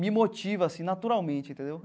Me motiva, assim, naturalmente, entendeu?